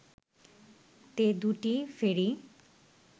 তে দুটি ফেরি